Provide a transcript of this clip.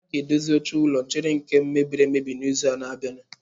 A ga-edozi oche ụlọ nchere nke mebiri emebi n'izu na-abịa.